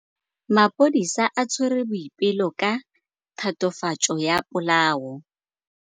Maphodisa a tshwere Boipelo ka tatofatsô ya polaô.